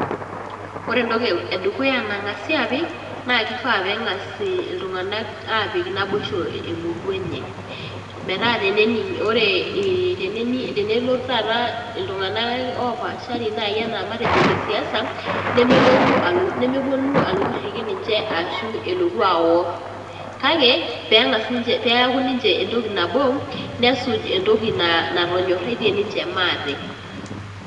Ore entoki e dukuya nang'asi aapik naake ifaa peeng'as iltung'anak aapik naboisho emurua enye metaa tenening' ore ee teneni tenelotu taata iltung'anak opaashari nai enaa matejo ile siasa, nemelotu alo nemeponu alotu airiki ninje ashu elotu awor kake peng'as nche peeku ninche entoki nabo nesuj entoki na natonyoraitie ninche maate.